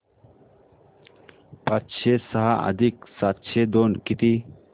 पाचशे सहा अधिक सातशे दोन किती